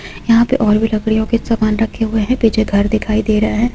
यहां पे और भी लड़कियों के सामान रखे हुए हैं पीछे घर दिखाई दे रहा है।